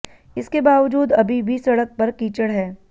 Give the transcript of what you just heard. इसके बावजूद अभी भी सड़क पर कीचड़ है